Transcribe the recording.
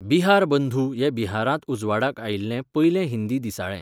बिहारबंधू हें बिहारांत उजवाडाक आयिल्लें पयलें हिंदी दिसाळें